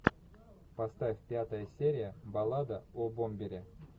поставь пятая серия баллада о бомбере